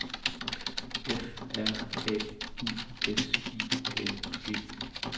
F R A U S I N G